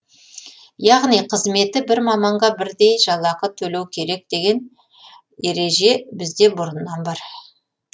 яғни қызметі бір маманға бірдей жалақы төлеу керек деген ереже бізде бұрыннан бар